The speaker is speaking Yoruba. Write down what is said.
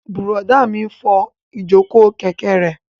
Bùrọ̀dá mi n fọ ìjòkó kẹ̀kẹ́ rẹ̀